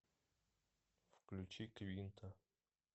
включи квинта